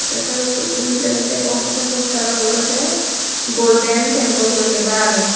te sideondi ekko milere degong te posteranot olode golden temple guri lega age.